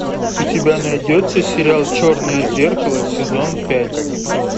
у тебя найдется сериал черное зеркало сезон пять